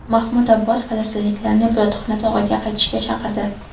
Mahmud Abbos falastinliklarni Ibodatxona tog‘iga qaytishga chaqirdi.